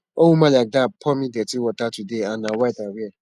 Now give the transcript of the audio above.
one woman like dat pour me dirty water today and na white i wear